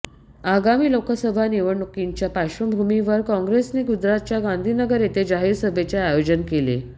आगामी लोकसभा निवडणुकींच्या पार्श्वभूमीवर कॉंग्रेसने गुजरातच्या गांधीनगर येथे जाहीर सभेचे आयोजन केले